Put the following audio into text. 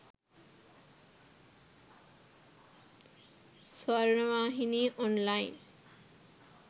sawarnawahini online